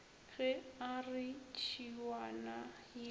ge a re tšhiwana ye